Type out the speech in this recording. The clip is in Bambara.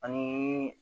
Ani